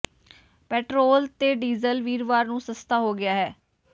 petrol ਤੇ diesel ਵੀਰਵਾਰ ਨੂੰ ਸਸਤਾ ਹੋ ਗਿਆ ਹੈ